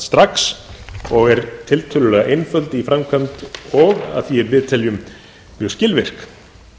strax og er tiltölulega einföld í framkvæmd og að því er við teljum mjög skilvirk